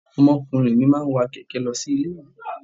Ọmọkùnrin mi máa ń wa kẹ̀kẹ́ ẹ̀ lọ sí ilé-ìwé.